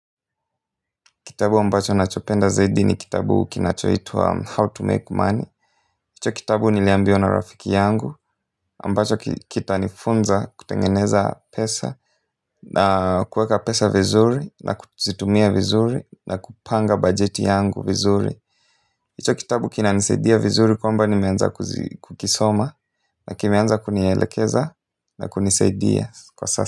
Kitabu ambacho nachopenda zaidi ni kitabu kinachoitwa How to Make Money. Hicho kitabu niliambiwa na rafiki yangu ambacho kitanifunza kutengeneza pesa na kuweka pesa vizuri na kuzitumia vizuri na kupanga bajeti yangu vizuri. Hicho kitabu kinanisaidia vizuri kwamba nimeanza kukisoma na kimeanza kunielekeza na kunisaidia kwa sasa.